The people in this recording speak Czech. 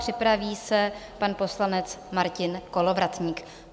Připraví se pan poslanec Martin Kolovratník.